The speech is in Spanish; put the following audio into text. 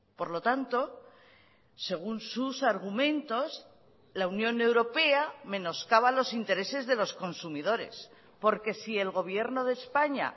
por lo tanto según sus argumentos la unión europea menoscaba los intereses de los consumidores porque si el gobierno de españa